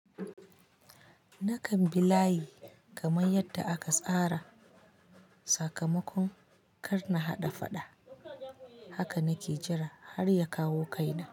Nakan bi layi kamar yadda aka tsara sakamakon kar na haɗa faɗa. Haka na ke jira har ya kawo kaina.